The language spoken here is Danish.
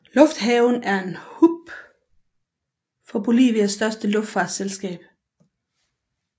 Lufthaven er hub for Bolivias største luftfartsselskab Boliviana de Aviación